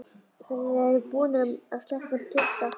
Þeir eru búnir að sleppa tudda!